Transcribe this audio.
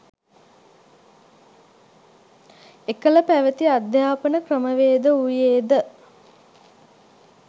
එකල පැවැති අධ්‍යාපන ක්‍රමවේද වූයේද